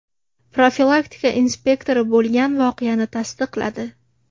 Profilaktika inspektori bo‘lgan voqeani tasdiqladi.